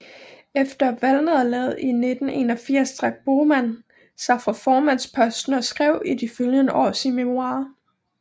Efter valgnederlaget i 1981 trak Bohman sig fra formandsposten og skrev i de følgende år sine memoirer